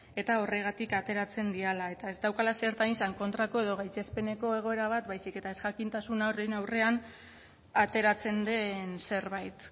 eta horregatik ateratzen direla eta ez daukala zertan izan kontrako edo gaitzespeneko egoera bat baizik eta ezjakintasunaren aurrean ateratzen den zerbait